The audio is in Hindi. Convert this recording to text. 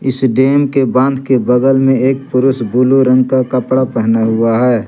इस डैम के बांध के बगल में एक पुरुष बुलू रंग का कपड़ा पहना हुआ है।